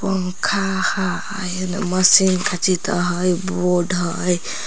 पंखा हय न मशीन काचि त हय बोड हय।